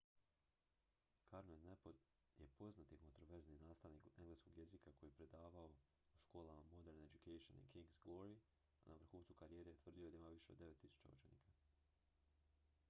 karno je poznati kontroverzni nastavnik engleskog jezika koji je predavao u školama modern education i king's glory a na vrhuncu karijere tvrdio je da ima više od 9.000 učenika